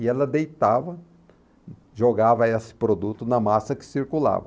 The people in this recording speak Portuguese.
E ela deitava, jogava essa produto na massa que circulava.